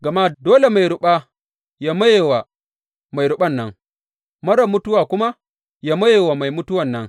Gama dole mai ruɓa yă maye wa mai ruɓan nan, marar mutuwa kuma yă maye wa mai mutuwan nan.